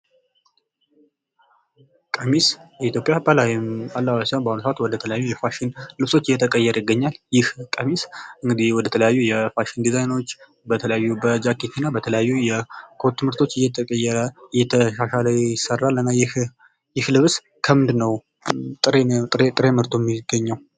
ቀሚስ የኢትዮጵያ ባህላዊ አለባበስ ሲሆን ፤ በአሁኑ ሰዓት ወደ ተለያዩ ፋሽን ልብሶች እየተቀየረ ይገኛል። ይህ ቀሚስ እንግድህ ወደ ተለያዩ የፋሽን ዲዛይኖች በጃኬት እና በተለያዩ የኮት ምርቶች እየተቀየረ እየተሻሻለ ይሰራል። እና ይህ ልብስ ከምንድነው ጥሬ ምርቱ የሚገኘው?